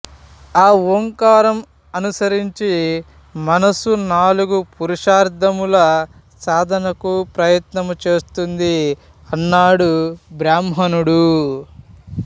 ఆ ఓంకారం అనుసరించి మనసు నాలుగు పురుషార్ధముల సాధనకు ప్రయత్నము చేస్తుంది అన్నాడు బ్రాహ్మణుడు